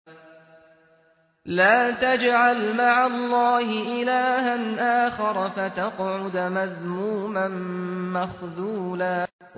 لَّا تَجْعَلْ مَعَ اللَّهِ إِلَٰهًا آخَرَ فَتَقْعُدَ مَذْمُومًا مَّخْذُولًا